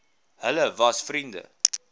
hulle was vriende